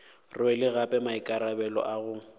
rwele gape maikarabelo a go